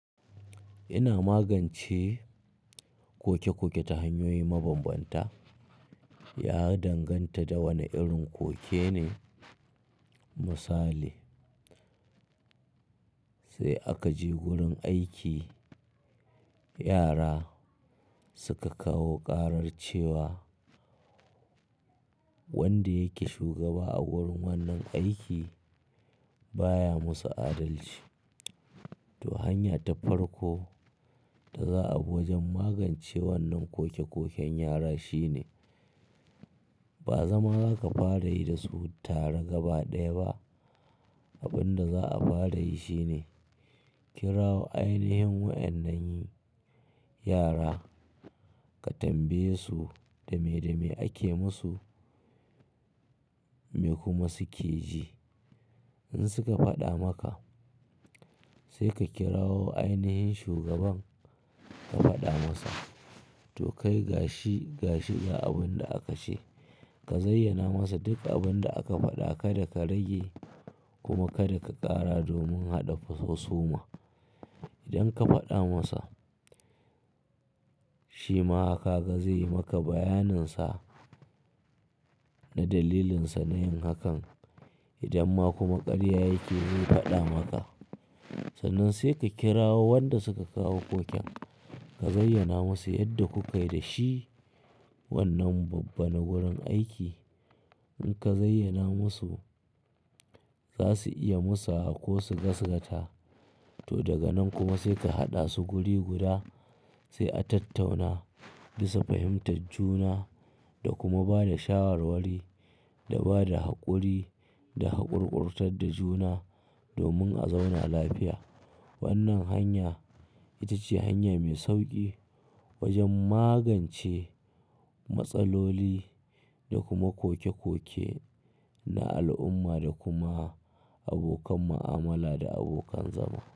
Ina magance koke-koke ta hanyoyi mabanbanta. Ya danganta da wane irin koke ne misali, sai aka je wurin aiki, yara suka kawo karar cewa. Wanda yake shugaba a wurin wannan aiki baya musu adalci. Toh, hanya ta farko da za abi wajen magance wannan koke-koken yara shine, ba zama za ka fara yi da su tare gaba ɗaya ba. Abin da za a fara yi shine Kirawo ainihin waɗan nan yara. Ka tambaye su dame-dame ake musu, me kuma suke ji. In suka faɗa maka, sai ka kirawo ainihin shugaban ka faɗa masa. To, kai gashi gashi ga abin da aka ce. Ka zayyana masa duk abin da aka faɗa ka da ka rage kuma ka da ka ƙara domin haɗa fu husu ma. Idan ka faɗa masa, shi ma haka ga zai yi maka bayanin sa na dalilin sa na yin hakan. Idan ma kuma ƙarya yake zai faɗa maka. To, kai gashi gashi ga abin da aka ce. Wannan babban wurin aiki. In ka zayyana musu, za su iya musawa ko su gaskata. To, daga nan kuma sai ka haɗa su guri guda sai a tattauna bisa fahimtar juna da kuma ba da shawarwari da ba da haƙuri da haƙurƙurtar da juna domin a zauna lafiya. Wannan hanya ita ce hanya mai sauƙi wajen magance matsaloli da kuma koke-koke na al'umma da kuma abokan mu'amala da abokan zama.